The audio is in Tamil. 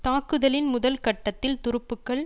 தாக்குதலின் முதல் கட்டத்தில் துருப்புக்கள்